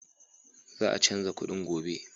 Za a canza kuɗin gobe.